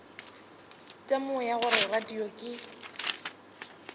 temogo ya gore radio ke